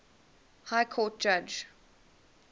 high court judge